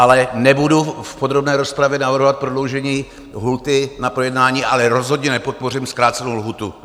Ale nebudu v podrobné rozpravě navrhovat prodloužení lhůty na projednání, ale rozhodně nepodpořím zkrácenou lhůtu.